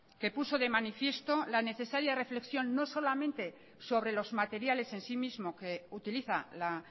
que puso de manifiesto la necesaria reflexión no solamente sobre los materiales en sí mismo que utiliza la